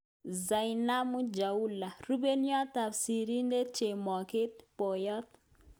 Zainabu Chaula-Rupeiywot ap sirindet chemoget-poyot